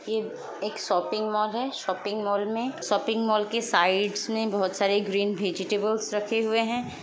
ये एक shopping mall है शॉपिंग मॉल में शॉपिंग मॉल के साइड्स में बोहोत सारी ग्रीन वेजीटेबलस रखे हुए हैं।